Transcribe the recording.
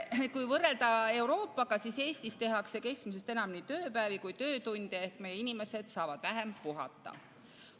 Euroopaga võrreldes tehakse Eestis keskmisest enam nii tööpäevi kui ka töötunde ehk meie inimesed saavad vähem puhata.